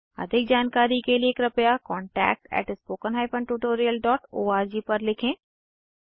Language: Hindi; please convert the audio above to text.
अधिक जानकारी के लिए कृपया contactspoken tutorialorg पर लिखें